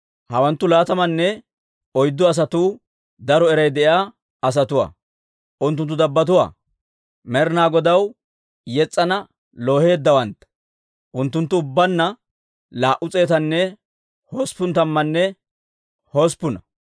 Hawanttu laatamanne oyddu asatuu daro eray de'iyaa asatuwaa. Unttunttu dabbotuu; Med'inaa Godaw yetsan looheeddawantta; unttunttu ubbaanna laa"u s'eetanne hosppun tammanne hosppuna.